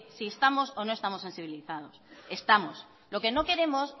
si estamos o no estamos sensibilizados estamos lo que no queremos